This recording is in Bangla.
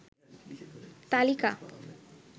তালিকা